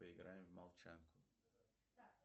поиграем в молчанку